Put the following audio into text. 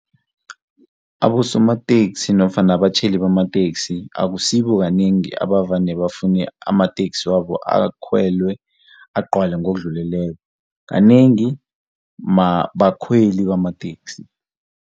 Abosamateksi nofana abatjhayeli bamateksi akusibo kanengi abavane bafune amateksi wabo akhwelwe agcwale ngokudluleleko, kanengi bakhweli bamateksi.